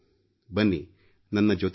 ಬನ್ನಿ ನನ್ನ ಜೊತೆಗೂಡಿ